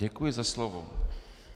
Děkuji za slovo.